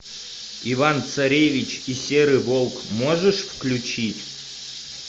иван царевич и серый волк можешь включить